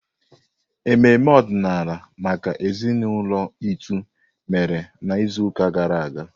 Ememe ọdịnala maka ezinaụlọ Itu mere n'izuụka gara aga.